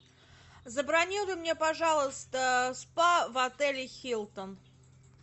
забронируй мне пожалуйста спа в отеле хилтон